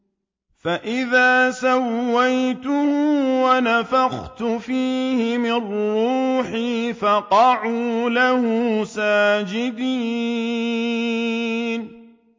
فَإِذَا سَوَّيْتُهُ وَنَفَخْتُ فِيهِ مِن رُّوحِي فَقَعُوا لَهُ سَاجِدِينَ